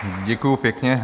Děkuji pěkně.